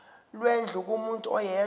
lwendlu kumuntu oyedwa